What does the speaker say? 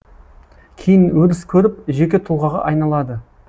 кейін өріс көріп жеке тұлғаға айналады